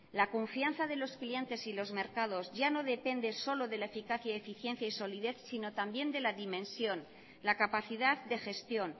la confianza de los clientes y los mercados ya no depende solo de la eficacia eficiencia y solidez sino también de la dimensión la capacidad de gestión